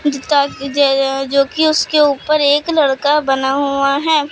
जो की उसके ऊपर एक लड़का बना हुआ है।